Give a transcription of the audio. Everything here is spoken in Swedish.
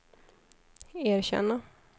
erkänna